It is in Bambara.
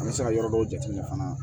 An bɛ se ka yɔrɔ dɔw jateminɛ fana